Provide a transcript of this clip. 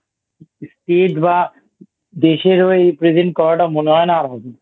State এর বা দেশের হয়ে Present করাটা মনে হয় না আর হবে না ।